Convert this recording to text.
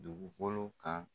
Dugukolo kan